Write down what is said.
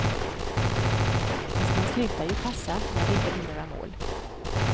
Fast man slutar ju passa när det inte blir några mål.